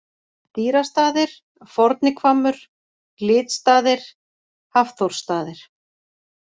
Dýrastaðir, Forni-Hvammur, Glitstaðir, Hafþórsstaðir